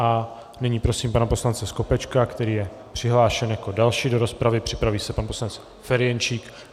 A nyní prosím pana poslance Skopečka, který je přihlášen jako další do rozpravy, připraví se pan poslanec Ferjenčík.